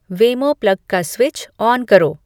वेमो plug का switch on करो